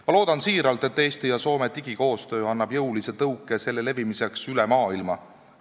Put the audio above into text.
Ma loodan väga, et Eesti ja Soome digikoostöö annab jõulise tõuke selle levimiseks üle maailma.